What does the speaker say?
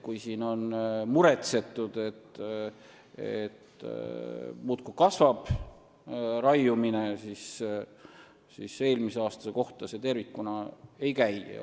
Kui siin on muretsetud, et raiumine muudkui kasvab, siis eelmise aasta kohta tervikuna see ei käi.